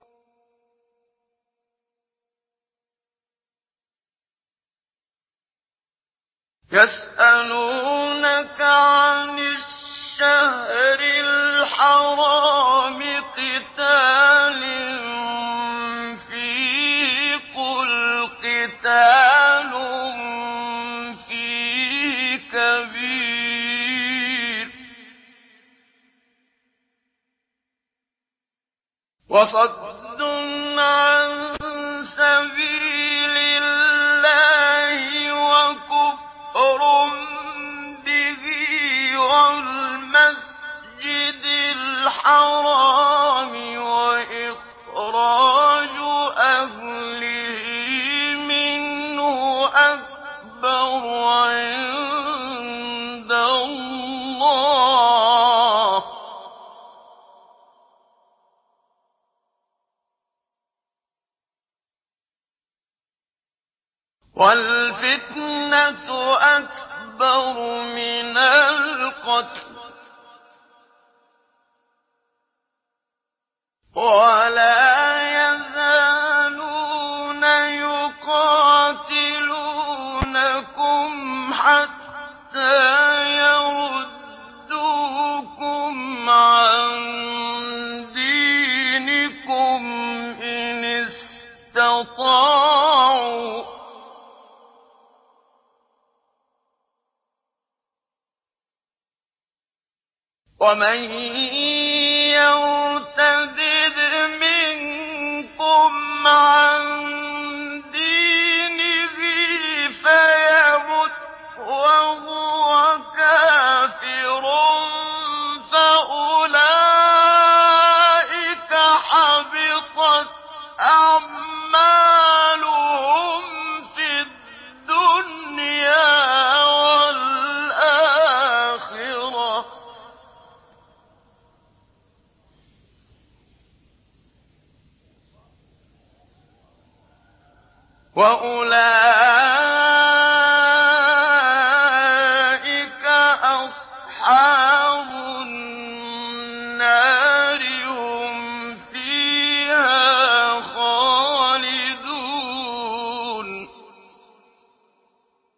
يَسْأَلُونَكَ عَنِ الشَّهْرِ الْحَرَامِ قِتَالٍ فِيهِ ۖ قُلْ قِتَالٌ فِيهِ كَبِيرٌ ۖ وَصَدٌّ عَن سَبِيلِ اللَّهِ وَكُفْرٌ بِهِ وَالْمَسْجِدِ الْحَرَامِ وَإِخْرَاجُ أَهْلِهِ مِنْهُ أَكْبَرُ عِندَ اللَّهِ ۚ وَالْفِتْنَةُ أَكْبَرُ مِنَ الْقَتْلِ ۗ وَلَا يَزَالُونَ يُقَاتِلُونَكُمْ حَتَّىٰ يَرُدُّوكُمْ عَن دِينِكُمْ إِنِ اسْتَطَاعُوا ۚ وَمَن يَرْتَدِدْ مِنكُمْ عَن دِينِهِ فَيَمُتْ وَهُوَ كَافِرٌ فَأُولَٰئِكَ حَبِطَتْ أَعْمَالُهُمْ فِي الدُّنْيَا وَالْآخِرَةِ ۖ وَأُولَٰئِكَ أَصْحَابُ النَّارِ ۖ هُمْ فِيهَا خَالِدُونَ